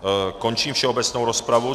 Končím všeobecnou rozpravu.